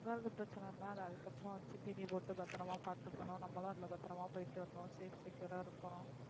வாங்கறது பிரச்சன இல்ல அதுக்கு அப்பறம் தீனி போட்டு பத்ரமா பாத்துக்கணும் நம்மளும் அதுலா பத்ரமா போய்ட்டு வரணும் safety யா இருகான்னும்